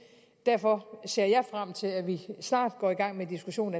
derfor ser jeg frem til at vi snart går i gang med diskussionen